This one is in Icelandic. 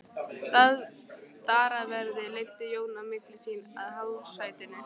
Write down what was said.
Dyraverðir leiddu Jón á milli sín að hásætinu.